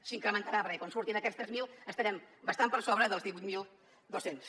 s’incrementarà perquè quan surtin aquests tres mil estarem bastant per sobre dels divuit mil dos cents